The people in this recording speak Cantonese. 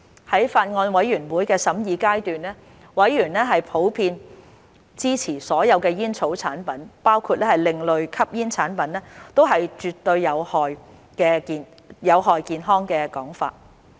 在法案委員會審議階段，委員普遍支持所有煙草產品，包括另類吸煙產品，都絕對有害健康的說法。